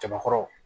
Jabakɔrɔ